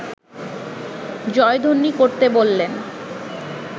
জয়ধ্বনি করতে বললেন